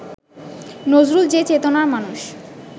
নজরুল যে চেতনার মানুষ